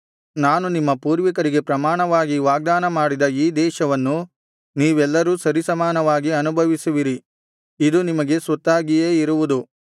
ನಾನು ನಿಮ್ಮ ಪೂರ್ವಿಕರಿಗೆ ಪ್ರಮಾಣವಾಗಿ ವಾಗ್ದಾನ ಮಾಡಿದ ಈ ದೇಶವನ್ನು ನೀವೆಲ್ಲರೂ ಸರಿಸಮಾನವಾಗಿ ಅನುಭವಿಸುವಿರಿ ಇದು ನಿಮಗೆ ಸ್ವತ್ತಾಗಿಯೇ ಇರುವುದು